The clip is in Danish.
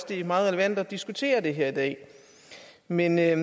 det er meget relevant at diskutere det her i dag men jeg